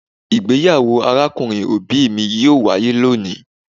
Igbeyawo arakunrin obi mi yoo waye loni